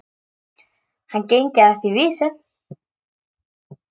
Hann gengi að því vísu.